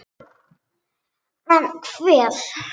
En hver?